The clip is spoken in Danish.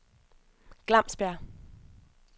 Glamsbjerg